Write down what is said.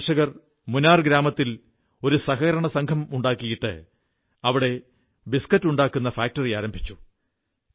ഈ കർഷകർ മുനാർ ഗ്രാമത്തിൽ ഒരു സഹകരണസംഘം ഉണ്ടാക്കിയിട്ട് അവിടെ ബിസ്കറ്റുണ്ടാക്കുന്ന ഫാക്ടറി ആരംഭിച്ചു